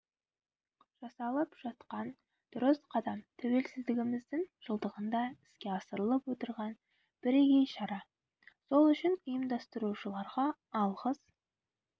жасалып жатқан дұрыс қадам тәуелсіздігіміздің жылдығында іске асырылып отырған бірегей шара сол үшін ұйымдастырушыларға алғыс